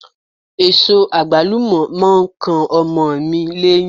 Èso àgbálù mọ̀ ń kan ọmọ mi léyín.